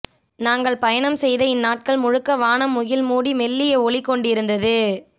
நாங்கள் பயணம் செய்த இந்நாட்கள் முழுக்க வானம் முகில் மூடி மெல்லிய ஒளி கொண்டிருந்தது